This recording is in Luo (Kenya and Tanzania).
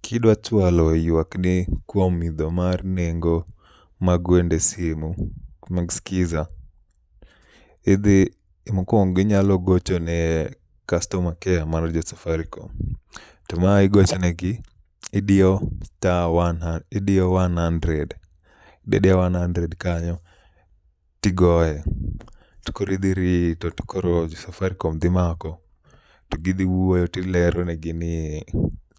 Kidwa chwalo ywak ni kuom idho mar nengo mag wende simu mek Skiza. Idhi mokwongo inyalo gocho ne Kastoma Keya mar jo Safaricom. To ma igochonegi, idiyo sta wan ha, idiyo wan handred, idiyo wan handred kanyo tigoye. to koro idhi rito to Safaricom dhi mako, to gidhi wuoyo tileronegi ni